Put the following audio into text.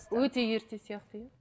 өте ерте сияқты иә